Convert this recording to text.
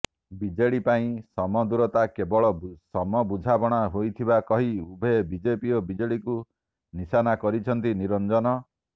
BJD ପାଇଁ ସମଦୂରତା କେବଳ ସମବୁଝାମଣା ହୋଇଥିବା କହି ଉଭୟ ବିଜେପି ଓ ବିଜେଡିକୁ ନିଶାନା କରିଛନ୍ତି ନିରଞ୍ଜନ